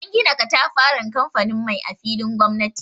An gina katafaren kamfanin mai a filin gomnati.